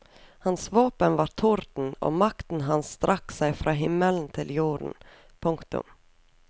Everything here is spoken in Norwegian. Hans våpen var torden og makten hans strakk seg fra himmelen til jorden. punktum